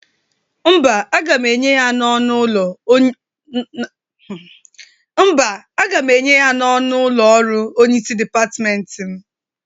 Mba, agam enye ya n'ọnụ ụlọ ọrụ onyeisi dịpatmenti m